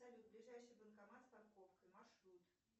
салют ближайший банкомат с парковкой маршрут